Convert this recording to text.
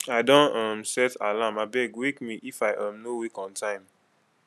i don um set alarm abeg wake me if i um no wake on time